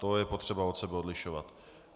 To je potřeba od sebe odlišovat.